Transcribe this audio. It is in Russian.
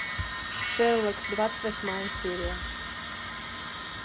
шерлок двадцать восьмая серия